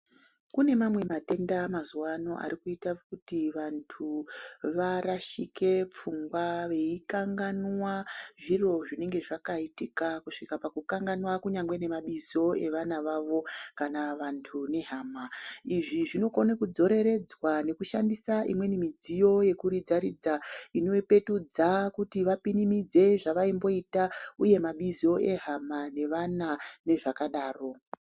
Kune mamwe matenda mazuwa ano ari kuita kuti vanthu varashike pfungwa, veikanganwa zviro zvinenge zvakaitika, kusvika pakukanganwa kunyange nemabizo evana vavo, kana vanthu nehama. Izvi zvinokone kudzoreredzwa ne kushandisa imweni midziyo yekuridza-ridza, inopetudza kuti vapinimidze zvavaimboita, uye mabizo ehama nevana nezvakadaro.